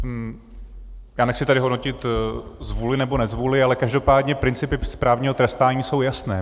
Já nechci tady hodnotit zvůli nebo nezvůli, ale každopádně principy správního trestání jsou jasné.